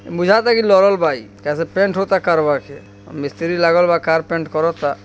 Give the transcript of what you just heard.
Motor cycle local बाई कह सकते हे पैंट होता कारवा चे मिस्त्री लगेला कार पैंट करोतसा ।